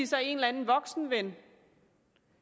sig en eller anden voksenven